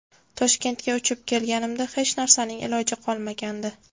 Toshkentga uchib kelganimda hech narsaning iloji qolmagandi.